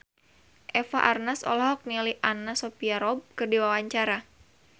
Eva Arnaz olohok ningali Anna Sophia Robb keur diwawancara